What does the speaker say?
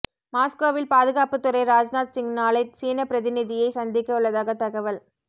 மாஸ்கோவில் பாதுகாப்புத்துறை ராஜ்நாத் சிங் நாளை சீன பிரதிநிதியை சந்திக்க உள்ளதாக தகவல்